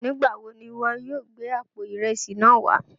Nígbà wọ ni iwọ yóò gbẹ̀ àpò ìrẹsí náà wà?